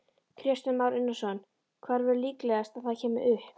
Kristján Már Unnarsson: Hvar væri líklegast að það kæmi upp?